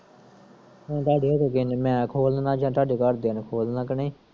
ਹੁਣ ਧਾਡੇ ਓਥੇ gym ਮੈਂ ਖੋਲ ਦਿਨਾਂ ਜਾਂ ਧਾਡੇ ਘਰਦਿਆਂ ਨੇ ਖੋਲਣਾ ਕਿ ਨਈਂ